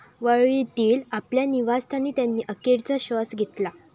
वरळीतील आपल्या निवासस्थानी त्यांनी अखेरचा श्वास घेतला.